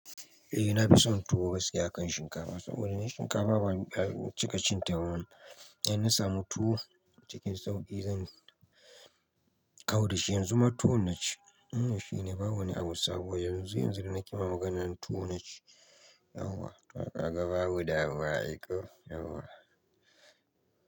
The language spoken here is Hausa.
Eh, na fi son tuwo gaskiya a kan shinkafa saboda shinkafa babu cikaccinta ba. In na samu tuwo cikin sauƙi, zan kau da shi. Yan zuma tuwo na ci. Wannan Shi ne babu wa ni abusabo Wai yanzu yanzu danake ma maganan nan tuwo na ci. Yauwa. Ka ga babu damuwa ai ko. Yahwa.